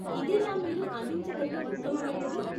ఇదేనా మీరు అందించగలిగే ఉత్తమమైనది?